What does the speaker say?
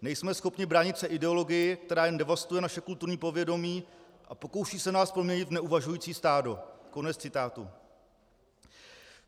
Nejsme schopni bránit se ideologii, která jen devastuje naše kulturní povědomí a pokouší se nás proměnit v neuvažující stádo."